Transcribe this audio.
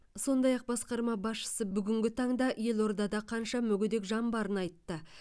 сондай ақ басқарма басшысы бүгінгі таңда елордада қанша мүгедек жан барын айтты